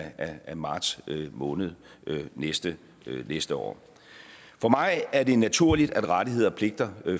af marts måned næste næste år for mig er det naturligt at rettigheder og pligter